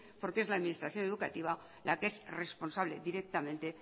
porque es la administración educativa la que es responsable directamente